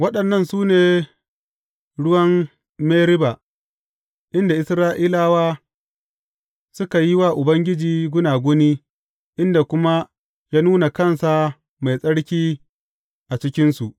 Waɗannan su ne ruwan Meriba, inda Isra’ilawa suka yi wa Ubangiji gunaguni, inda kuma ya nuna kansa mai tsarki a cikinsu.